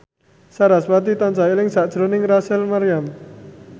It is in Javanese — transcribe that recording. sarasvati tansah eling sakjroning Rachel Maryam